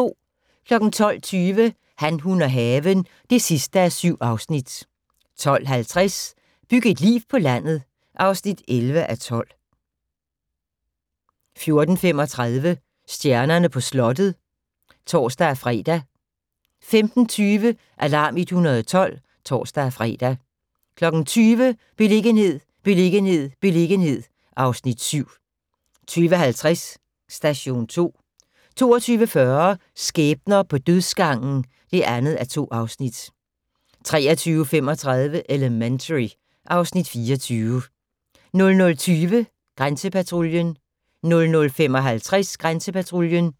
12:20: Han, hun og haven (7:7) 12:50: Byg et liv på landet (11:12) 14:35: Stjernerne på slottet (tor-fre) 15:20: Alarm 112 (tor-fre) 20:00: Beliggenhed, beliggenhed, beliggenhed (Afs. 7) 20:50: Station 2 22:40: Skæbner på dødsgangen (2:2) 23:35: Elementary (Afs. 24) 00:20: Grænsepatruljen 00:55: Grænsepatruljen